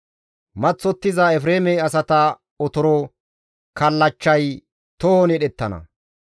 Maththottiza Efreeme asata otoro kallachchay tohon yedhettana.